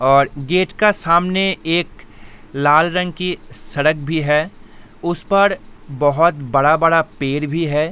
और गेट का सामने एक लाल रंग की सड़क भी है। उस पर बहुत बड़ा-बड़ा पेड़ भी है।